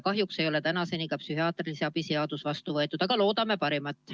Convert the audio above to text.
Kahjuks ei ole ikka veel psühhiaatrilise abi seaduse muudatust vastu võetud, aga loodame parimat.